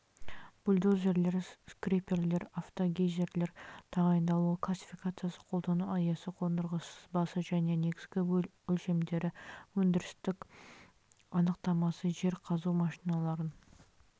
бульдозерлер скреперлер автогрейзерлер тағайындалуы классификациясы қолдану аясы қондырғысы сызбасы және негізгі өлшемдері өндірістілік анықтамасы жер қазу машиналарын